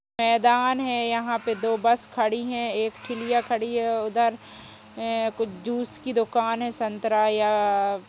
मैदान है यहां पे दो बस खड़ी हैं। एक ठेलिया खड़ी है। उधर एं कुछ जूस की दुकान है संतरा या --